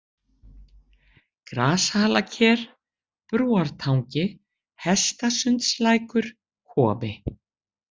Grashalaker, Brúartangi, Hestasundslækur, Kofi